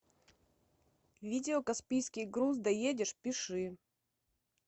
видео каспийский груз доедешь пиши